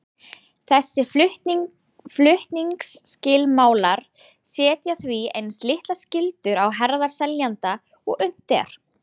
Þessir flutningsskilmálar setja því eins litlar skyldur á herðar seljanda og unnt er.